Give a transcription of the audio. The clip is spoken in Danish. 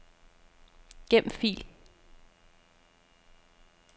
Gem fil.